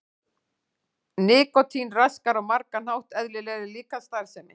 Nikótín raskar á margan hátt eðlilegri líkamsstarfsemi.